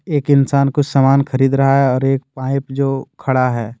एक इंसान कुछ सामान खरीद रहा है और एक पाइप जो खड़ा है।